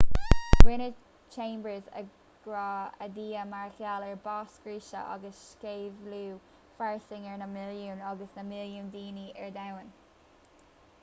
rinne chambers agra ar dhia mar gheall ar bás scriosadh agus sceimhliú fairsing ar na milliúin agus na milliúin daoine ar domhan